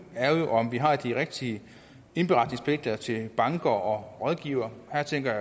er jo om vi har de rigtige indberetningspligter til banker og rådgivere her tænker